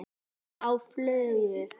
Á flugu?